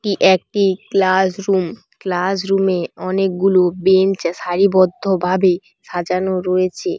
একটি class room class রুমে অনেকগুলো বেঞ্চ সারিবদ্ধ ভাবে সাজানো রয়েছে।